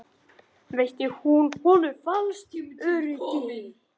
Veitti hún honum falskt öryggi?